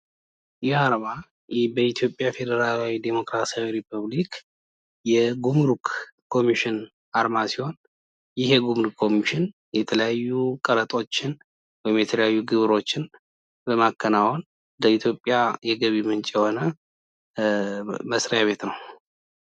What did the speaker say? ይህ አርማ በኢትዮጵያ ፌዴራላዊ ዲሞክራሲያዊ ሪፐፕሊክ የጉሙሩክ ኮሚሽን አርማ ሲሆን ይህ የጉሙሩክ ኮሚሽን የተለያዩ ቀረጦችን ወይም የተለያዩ ግብሮችን ለኢትዮጵያ የገቢ ምንጭ የሆነ መስሪያ ቤት ነው።